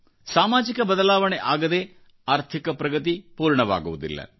ಸಾಮಾಜಿಕ ಬದಲಾವಣೆ ಆಗದೆ ಆರ್ಥಿಕ ಪ್ರಗತಿ ಪೂರ್ಣವಾಗುವುದಿಲ್ಲ